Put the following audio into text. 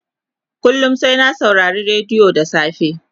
kullum sai na saurari rediyo da safe